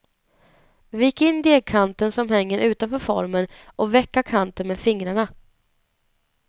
Vik in degkanten som hänger utanför formen och vecka kanten med fingrarna.